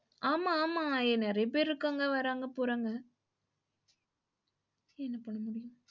ஆமா ஆமா எ நெறைய பேர் இருக்காங்க, வராங்க போறாங்க